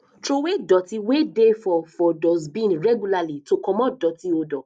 trowey doti wey dey for for dustbin regularly to comot doti odour